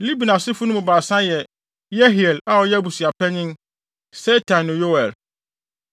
Libni asefo no mu baasa yɛ Yehiel (a ɔyɛ abusuapanyin), Setam ne Yoel.